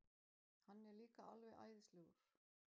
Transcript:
Hann er líka alveg æðislegur.